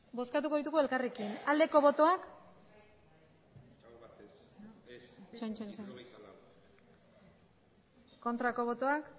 bozkatuko ditugu elkarrekin aldeko botoak aurkako botoak